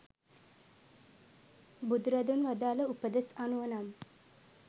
බුදුරදුන් වදාළ උපදෙස් අනුව නම්,